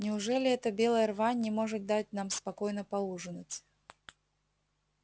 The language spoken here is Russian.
неужели эта белая рвань не может дать нам спокойно поужинать